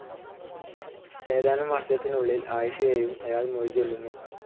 ഏതാനും വർഷത്തിനുള്ളിൽ അയിഷയെയും അയാൾ മൊഴിചൊല്ലുന്നു.